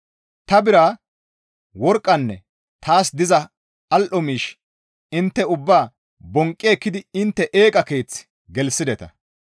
Ta bira, worqqanne taas diza al7o miish ubbaa intte bonqqi ekkidi intte eeqa keeth gelththideta.